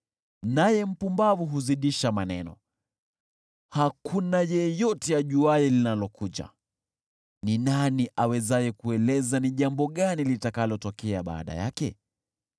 naye mpumbavu huzidisha maneno. Hakuna yeyote ajuaye linalokuja, ni nani awezaye kueleza ni jambo gani litakalotokea baada yake?